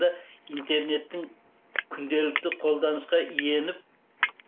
интернеттің күнделікті қолданысқа иеніп